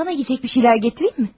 Sənə yeyəcək bir şeylər gətirimmi?